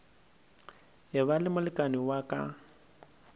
eba le molekane wa ka